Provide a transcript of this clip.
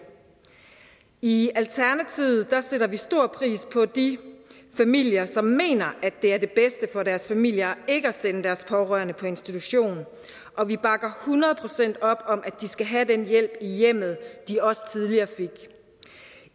i alternativet sætter vi stor pris på de familier som mener at det er det bedste for deres familier ikke at sende deres pårørende på institution og vi bakker hundrede procent op om at de skal have den hjælp i hjemmet som de også tidligere fik